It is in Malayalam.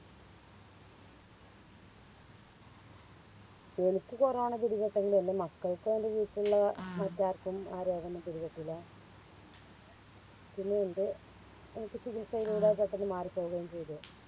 എനിക്ക് കൊറോണ പിടിപെട്ടത് എൻറെ മക്കൾക്കും എൻറെ വീട്ടിലുള്ളേ മറ്റാർകും ആ രോഗോന്നും പിടിപെട്ടില്ല പിന്നെ എൻറെ എനിക്ക് ചികിത്സയിലൂടെ പെട്ടന്ന് മാറി പോവുകയും ചെയ്തു